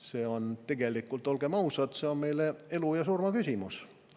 See on tegelikult, olgem ausad, meie elu ja surma küsimus.